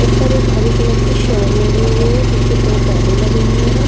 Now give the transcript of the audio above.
ऊपर एक हरे कलर की सॉल ओढे हुए है पीछे पेड़ - पौधे लगे हुये हैं।